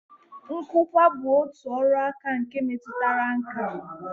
Nkụkwa bụ otu ọrụaka nke metụtara nkà